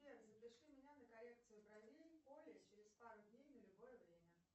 сбер запиши меня на коррекцию бровей к оле через пару дней на любое время